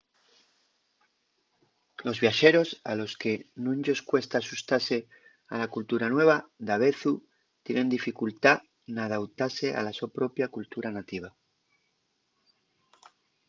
los viaxeros a los que nun-yos cuesta axustase a la cultura nueva davezu tienen dificultá n’adautase a la so propia cultura nativa